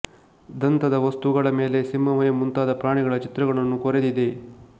ದಂತದ ವಸ್ತುಗಳ ಮೇಲೆ ಸಿಂಹವೇ ಮುಂತಾದ ಪ್ರಾಣಿಗಳ ಚಿತ್ರಗಳನ್ನು ಕೊರೆದಿದೆ